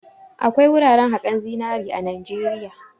Akwai wuraran haƙan zinari a Najeriya.